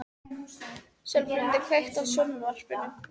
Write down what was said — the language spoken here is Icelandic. Sölmundur, kveiktu á sjónvarpinu.